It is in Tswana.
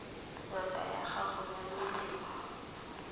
ngaka ya gago ya melemo